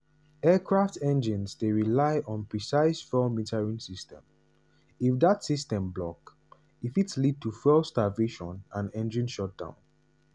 aircraft engines dey rely on precise fuel metering system - if dat system block e fit lead to fuel starvation and engine shutdown.